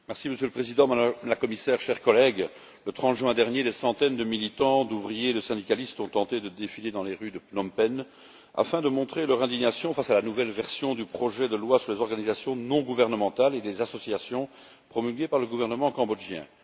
Monsieur le Président, Madame la Commissaire, chers collègues, le 30 juin dernier, des centaines de militants, d'ouvriers et de syndicalistes ont tenté de défiler dans les rues de Phnom Penh afin de montrer leur indignation face à la nouvelle version du projet de loi sur les organisations non gouvernementales et les associations, promulgué par le gouvernement cambodgien.